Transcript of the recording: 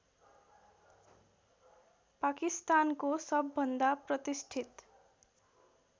पाकिस्तानको सबभन्दा प्रतिष्ठित